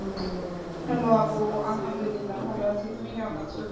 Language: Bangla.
Hello আপু আহামদুলিল্লাহ, ভালো আছি, তুমি কেমন আছো?